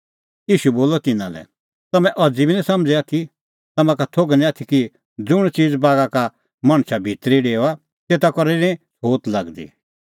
ईशू बोलअ तिन्नां लै तम्हैं बी अज़ी समझ़ै निं आथी तम्हां का थोघ निं आथी कि ज़ुंण च़ीज़ बागा का मणछा भितरी डेओआ तेता करै निं तेऊ छ़ोत लागदी